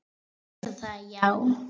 Finnst þér það já.